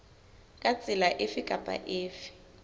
ka tsela efe kapa efe